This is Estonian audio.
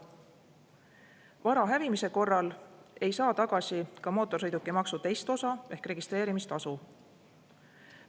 Vara hävimise korral ei saa tagasi ka mootorsõidukimaksu teist osa ehk registreerimistasu.